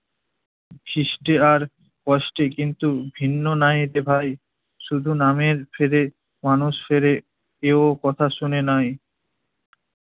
খিস্টে আর কষ্টে কিন্তু ভিন্ন নাইতে ভাই, শুধু নামের ফেদে মানুষ ফেরে, কেউ কথা শুনে নাই।